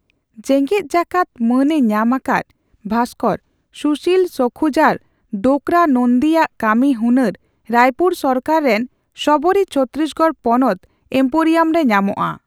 ᱡᱮᱜᱮᱫ ᱡᱟᱠᱟᱫ ᱢᱟᱹᱱᱼᱮ ᱧᱟᱢ ᱟᱠᱟᱫ ᱵᱷᱟᱥᱠᱚᱨ ᱥᱩᱥᱤᱞ ᱥᱚᱠᱷᱩᱡᱟᱨ ᱰᱳᱠᱨᱟ ᱱᱚᱱᱫᱤᱭᱟᱜ ᱠᱟᱹᱢᱤ ᱦᱩᱱᱟᱹᱨ ᱨᱟᱭᱯᱩᱨ ᱥᱚᱨᱠᱟᱨ ᱨᱮᱱ ᱥᱚᱵᱚᱨᱤ ᱪᱷᱚᱛᱛᱨᱤᱥᱜᱚᱲ ᱯᱚᱱᱚᱛ ᱮᱢᱯᱳᱨᱤᱭᱟᱢ ᱨᱮ ᱧᱟᱢᱚᱜᱼᱟ ᱾